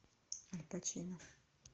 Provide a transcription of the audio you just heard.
аль пачино